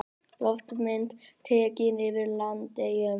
Loftmynd tekin yfir Landeyjum.